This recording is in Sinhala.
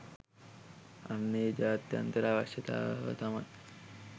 අන්න ඒ ජාත්‍යන්තර අවශ්‍යතාව තමයි